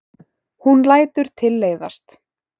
Hún lætur tilleiðast.